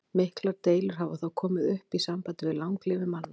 Miklar deilur hafa þó komið upp í sambandi við langlífi manna.